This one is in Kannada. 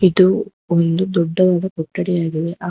ಇದು ಒಂದು ದೊಡ್ಡದಾದ ಕೊಠಡಿಯಾಗಿದೆ ಆ--